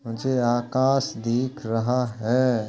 मुझे आकाश दिख रहा है।